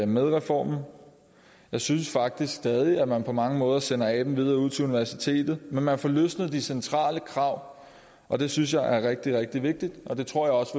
med reformen jeg synes faktisk stadig at man på mange måder sender aben videre ud til universiteterne men man får løsnet de centrale krav og det synes jeg er rigtig rigtig vigtigt det tror jeg også